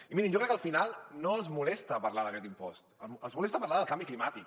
i mirin jo crec que al final no els molesta parlar d’aquest impost els molesta parlar del canvi climàtic